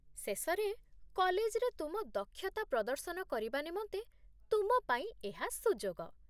ଶେଷରେ, କଲେଜରେ ତୁମ ଦକ୍ଷତା ପ୍ରଦର୍ଶନ କରିବା ନିମନ୍ତେ ତୁମ ପାଇଁ ଏହା ସୁଯୋଗ